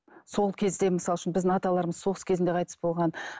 сол кезде мысалы үшін біздің аталарымыз соғыс кезінде қайтыс болған